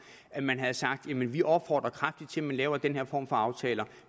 at man havde sagt vi vi opfordrer kraftigt til at man laver den her form for aftale